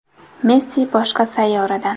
Messi boshqa sayyoradan.